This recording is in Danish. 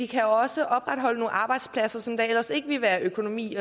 kan også opretholde nogle arbejdspladser som der ellers ikke ville være økonomi